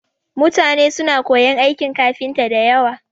Mutane suna koyon aikin kafinta da yawa